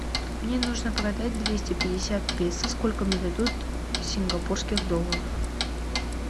мне нужно продать двести пятьдесят песо сколько мне дадут сингапурских долларов